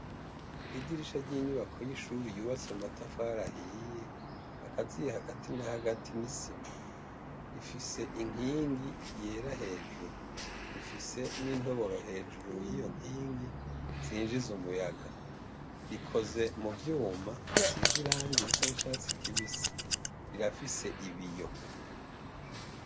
Idirisha ry’inyubako y’ishure yubatse mumatafari ahiye akaziye hagati na hagati n’isima, rifise inkingi yera hejuru rifise n’intoboro hejuru yiyo nkingi zinjiza umuyaga, rikoze mu vyuma bisize irangi risa n’icatsi kibisi irafise ibiyo.